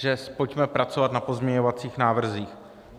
Že pojďme pracovat na pozměňovacích návrzích.